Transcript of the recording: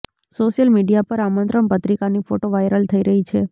social media પર આમંત્રણ પત્રિકાની ફોટો વાયરલ થઇ રહી છે